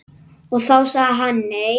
Og þá sagði hann nei.